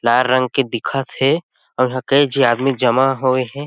लाल रंग दिखत हे आऊ इहा कई झी आदमी जमा होये हे।